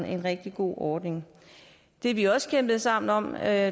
en rigtig god ordning det vi også kæmpede sammen om er